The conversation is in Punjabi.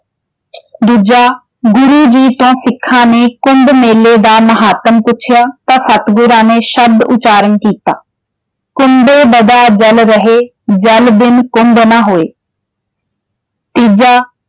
ਦੂਜਾ ਗੁਰੂ ਜੀ ਤੋਂ ਸਿੱਖਾਂ ਨੇ ਕੁੰਭ ਮੇਲੇ ਦਾ ਮਹੱਤਵ ਪੁੱਛਿਆ ਤਾਂ ਸਤਿਗੁਰਾਂ ਨੇ ਸ਼ਬਦ ਉਚਾਰਨ ਕੀਤਾ ਕੁੰਭੇ ਬਧਾ ਜਲੁ ਰਹੈ ਜਲ ਬਿਨੁ ਕੁੰਭੁ ਨ ਹੋਇ ॥ ਤੀਜਾ